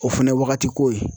O fɛnɛ ye wagati ko ye.